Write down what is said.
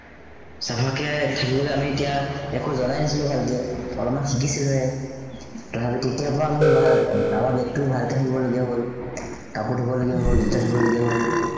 চাফাকে থাকিবলৈ আমি এতিয়া একো জনাই নাছিলো ভালকে। অলপমান শিকিছিলোহে। তেতিয়াৰ পৰাই আমি আহ আমাৰ batch ভালকে থাকিবলগীয়া হ'ল। কাপোৰ ধোৱলগীয়া হ'ল। জোতা ধোৱলগীয়া হ'ল।